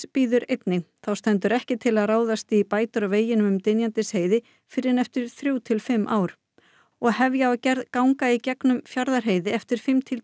bíður einnig þá stendur ekki til í að ráðast í bætur á veginum um Dynjandisheiði fyrr en eftir þrjú til fimm ár og hefja á gerð ganga í gegnum Fjarðarheiði eftir fimm til